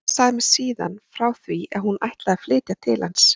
Linda sagði mér síðan frá því að hún ætlaði að flytja til hans.